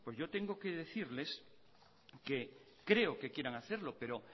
yo tengo que decirles que creo que quieran hacerlo pero